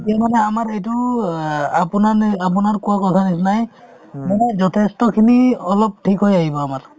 এতিয়া মানে আমাৰ এইটো অ আপোনাৰ নে আপোনাৰ কোৱা কথাৰ নিচিনাই মানে যথেষ্টখিনি অলপ ঠিক হৈ আহিব আমাৰ